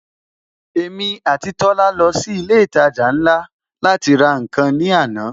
Èmi àti Tola lọ sí ilé ìtajà ńlá láti ra nkan ní àná